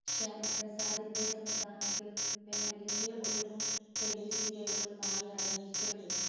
ശ്യാമപ്രസാദിന്റെ സംവിധാനത്തിൽ വേനലിന്റെ ഒഴിവും tele serial കളും ആയി ഇറങ്ങിയിട്ടുണ്ട്.